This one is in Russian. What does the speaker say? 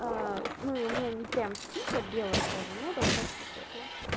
ну и у меня не прямо сильно белая кожа но достаточно светлая